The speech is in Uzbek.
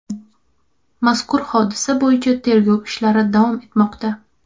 Mazkur hodisa bo‘yicha tergov ishlari davom etmoqda.